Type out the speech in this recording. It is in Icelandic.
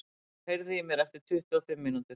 Ólöf, heyrðu í mér eftir tuttugu og fimm mínútur.